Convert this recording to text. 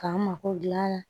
K'an mako dilan a la